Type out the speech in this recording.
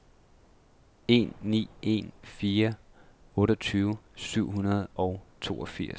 en ni en fire otteogtyve syv hundrede og toogfirs